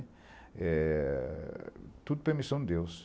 Eh... Tudo permissão de Deus.